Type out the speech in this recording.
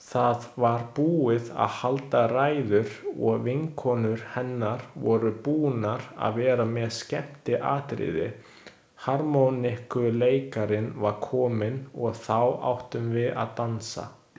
Það var búið að halda ræður og vinkonur hennar voru búnar að vera með skemmtiatriði, harmonikkuleikarinn var kominn og þá áttum við að dansa.